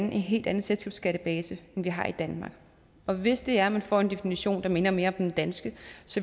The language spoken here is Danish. en helt anden selskabsskattebase end vi har i danmark og hvis det er at man får en definition der minder mere om den danske